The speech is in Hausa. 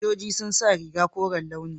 Sojoji sun sa rigar koren launi.